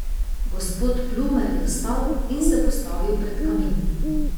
Gospod Plumer je vstal in se postavil pred kamin.